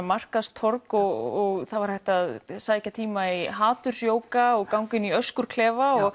markaðstorg og það var hægt að sækja tíma í haturs jóga og ganga inn í öskurklefa og